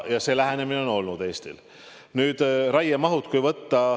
Selline lähenemine on olnud Eestil.